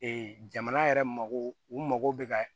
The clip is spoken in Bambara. jamana yɛrɛ mago u mago bɛ ka